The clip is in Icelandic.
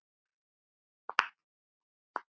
Hvílíkt rugl!